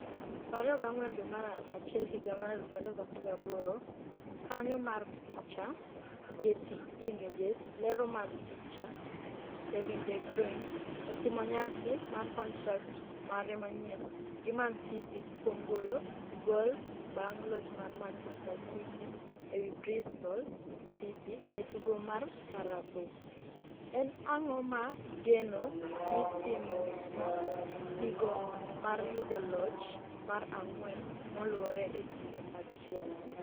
24 dwe mar achiel higa mar 2018 Kaonyo mar picha, Getty Images Lero mar picha, Kevin de Bruyne otimo nyasi mar kontrak mare manyien gi Mancity kuom golo gol Bang' loch mar Manchester City ewi Bristol City e tugo mar Carabo, en ang'o ma geno ni timno nigo mar yudo loch mar ang'wen moluwore e kinde achiel?